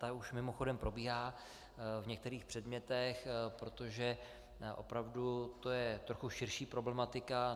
Ta už mimochodem probíhá v některých předmětech, protože opravdu je to trochu širší problematika.